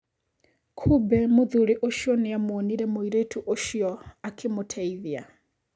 Kumbe mũthuri ũcio nĩamuonire mũirĩtu ũcio akĩmũteithia.